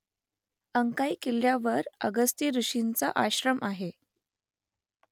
अंकाई किल्ल्यावर अगस्ती ऋषींचा आश्रम आहे